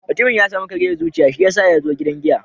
Mutumin ya samu kariyar zuciya shiyasa ya zo gidan giya.